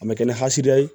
A mɛ kɛ ni hɛrɛ ye